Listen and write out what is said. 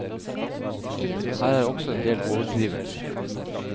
Her er også en del overdrivelser.